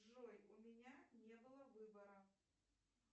джой у меня не было выбора